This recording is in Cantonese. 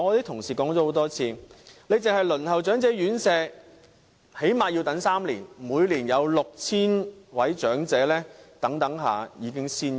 同事經常說，只是輪候長者院舍已最少等候3年，每年有 6,000 名長者在等候期間已經仙遊。